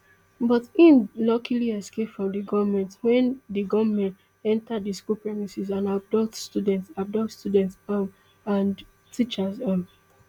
but im luckily escape from di gunmen wen di gunmen enta di school premises and abduct students abduct students um and teachers um